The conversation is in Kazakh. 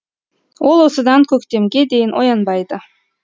ол осыдан көктемге дейін оянбайды